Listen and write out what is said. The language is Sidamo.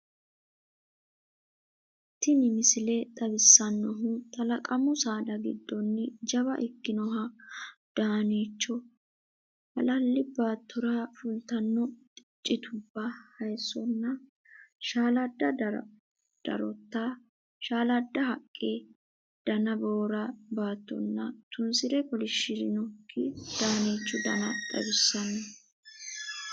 Tini misile xawissannohu talaqamu saada giddoonni jawa ikkinoha daaniicho, hallalli baattora fultanno citubba, hayiissonna shaaladda darota shaaladda haqqe. Dana boora baattonna tunsire kolishshirinokki daaniichu Dana xawissanno.